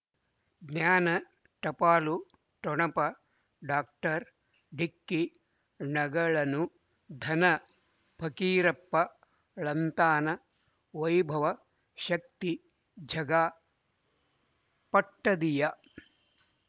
ಜ್ಞಾನ ಟಪಾಲು ಠೊಣಪ ಡಾಕ್ಟರ್ ಢಿಕ್ಕಿ ಣಗಳನು ಧನ ಫಕೀರಪ್ಪ ಳಂತಾನ ವೈಭವ್ ಶಕ್ತಿ ಝಗಾ ಪಟ್ಟದಿಯ